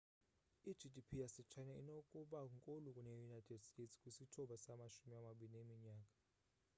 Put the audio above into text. i-gdp yase china inokuba nkulu kune-united states kwisithuba samashumi amabini eminyaka